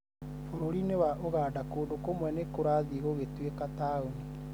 bũrũri-inĩ wa Uganda, kũndũ kũmwe nĩ kũrathiĩ gũgĩtuĩka taũni